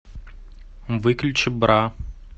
выключи бра